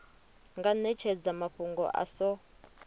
nga netshedza mafhungo a so